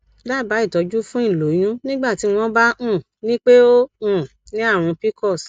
daba itọjú fún iloyun nigbati wọn bá um nipe o um ni àrùn pcos